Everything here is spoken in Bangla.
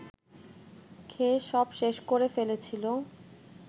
খেয়ে সব শেষ করে ফেলেছিল